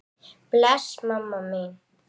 Bless mamma mín.